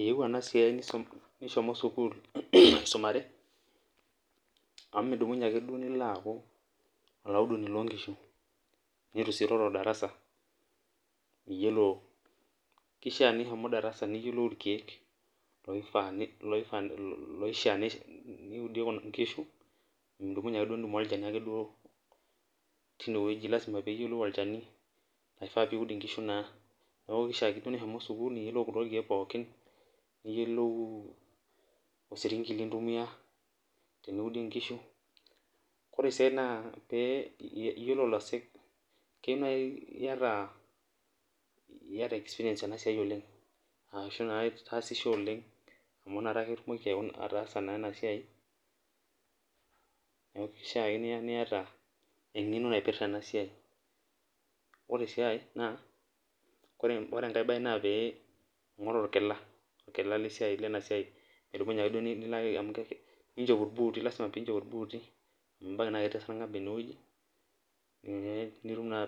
eeyieu ena siai nishomo sukuul aisumare. amu midumunye ake duo nilo aaku olaudoni loo nkishu. neitu sii iroro darasa, miyiolo, kishaa nishomo darasa, niyiolou irkeek loifaa, loishaa niudie kuna kish. midumunye ake duo tein wueji, lasima pee iyiolou olchani, oiaa piiud nkishu naa. neeku kifaa sii duo nishomo sukuul, niyiolu kulo keek pookin. niyiolou, osirinki lintumia teniud nkishu. ore esiai naa pee iyiolo olosek, kyieu naaji naa iyata experience tena siai oleng. ashu naa itaasishe oleng. amu inakta ake itumoki naa ataasa naa ena siai. neeku kishaa ake niata engeno naipirta ena siai. ore siai naa kebaya pee ing'oru orkila orkila lena siai, midumunye ake duo nilo ake, ninchop ilbooti. lasima pee inchop ilbuuti. amu ebaiki naa ketii esargab ene wueji,